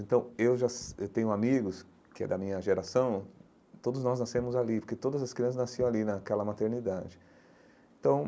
Então eu já tenho amigos, que é da minha geração, todos nós nascemos ali, porque todas as crianças nasciam ali naquela maternidade então.